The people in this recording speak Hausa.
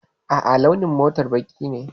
A'a, launin motar baƙi ne.